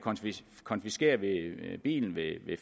konfiskere bilen ved